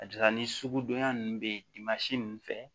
Ka d'a kan ni sugudonya ninnu bɛ yen ninnu fɛ